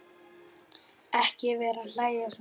Ekki vera að hlæja svona.